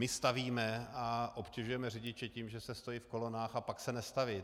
My stavíme a obtěžujeme řidiče tím, že se stojí v kolonách, a pak se nestaví.